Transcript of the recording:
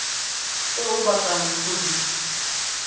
tse o batlang go di